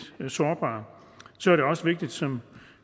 sårbare så er det også vigtigt som